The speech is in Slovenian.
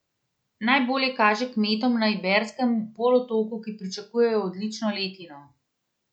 Najbolje kaže kmetom na Iberskem polotoku, ki pričakujejo odlično letino.